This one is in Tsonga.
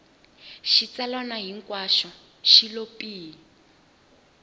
xitsalwana hinkwaxo xi lo pyi